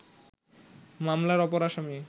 মামলার অপর আসামি